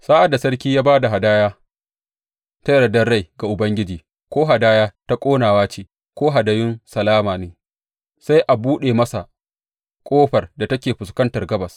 Sa’ad da sarki ya ba da hadaya ta yardar rai ga Ubangiji, ko hadaya ta ƙonawa ce ko hadayun salama ne, sai a buɗe masa ƙofar da take fuskantar gabas.